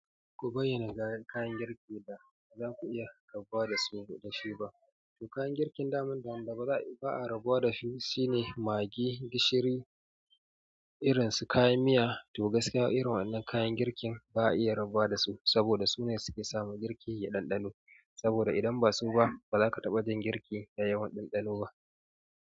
Ku bayyana kayan girki da ba za ku iya rabuwa da shi ba. To kayan girkin daman, da ba a rabuwa da shi shine magi, gishiri irin su kayan miya. To gaskiya irin wannan kayan girkin ba a iya rabuwa da su, saboda su ne suke sama girki ya ɗanɗanu. Saboda idan ba su ba ba zaka taɓa jin girki da yawan ɗanɗano ba.